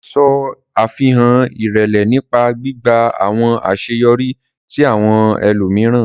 Ṣe afihan irẹlẹ nipa gbigba awọn aṣeyọri ti awọn ẹlomiran.